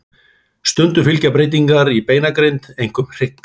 Stundum fylgja breytingar í beinagrind, einkum hrygg.